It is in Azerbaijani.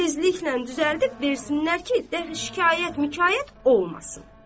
Tezliklə düzəldib versinlər ki, deyi şikayət-mükayət olmasın.